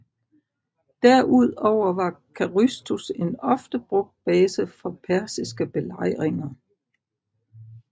Derudover var Carystus en ofte brugt base for persiske belejringer